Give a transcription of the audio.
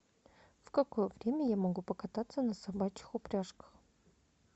в какое время я могу покататься на собачьих упряжках